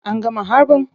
An gama harbin?